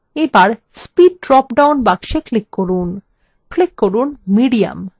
এবার speed drop down box click করুন click করুন medium